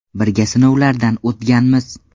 Birga sinovlardan o‘tganmiz.